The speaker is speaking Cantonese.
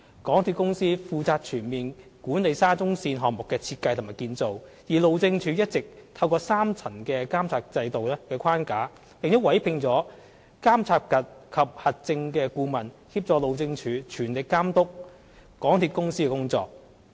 港鐵公司負責全面管理沙中線項目的設計及建造，而路政署一直透過三層監察制度的框架，並委聘了監察及核證顧問協助路政署全力監督港鐵公司的工作。